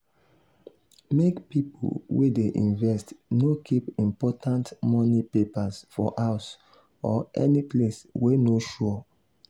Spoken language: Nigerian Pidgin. make pipu wey dey invest no keep important money papers for house or any place wey no sure.